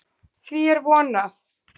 Því er von, að